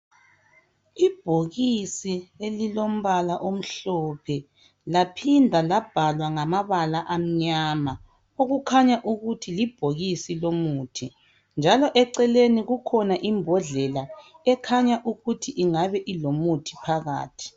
ibhokisi elilombala omhlophe laphindwa labhala ngamabala amnyama okukhanya ukuthi libhokisi lomuthi njalo eceleni kulembodlelaa ekhanya ukuthi ingabe ilomuthi phakathi